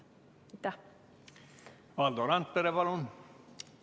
Valdo Randpere, palun!